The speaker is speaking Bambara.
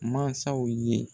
Mansaw ye.